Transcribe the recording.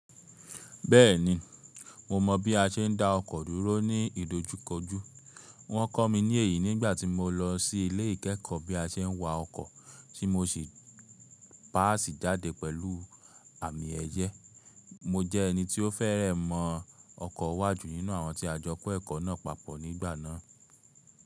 Bẹ́ẹ̀ni, mo mọ bí a ṣe ń dá ọkọ̀ dúró ní ìdojúkojú. Wọ́n kọ́ mi ní èyí nígbà tí mo lọ sí ilé ìkẹ́ẹ̀kọ́ bí a ṣe ń wa ọkọ̀, tí mo sì páàsì jáde pẹ̀lú àmì ẹ̀yẹ. Mo jẹ́ ẹni tí ó fẹ́rẹ́ mọ ọkọ̀ wá jù nínú àwọn tí a jọ kọ́ ẹ̀kọ́ náà papọ̀ nígbà náà.